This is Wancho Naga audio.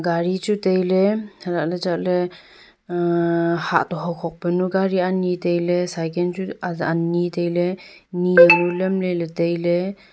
gari chu tailey alahley chatley uh hahto hokhok ka gari chu ani tailey cycle chu ani tailey nenu lamley.